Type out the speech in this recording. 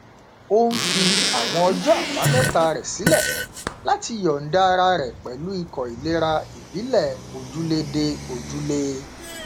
ó n fi àwọn ọjọ àbámẹta rẹ sílẹ láti yọnda ara rẹ pẹlú ikọ ìlera ìbílẹ ojúlé dé ojúlé